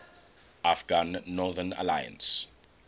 afghan northern alliance